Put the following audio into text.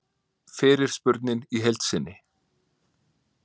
Fyrirspurnin í heild sinni